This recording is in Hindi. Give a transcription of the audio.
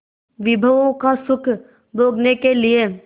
विभवों का सुख भोगने के लिए